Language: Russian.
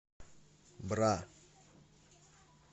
бра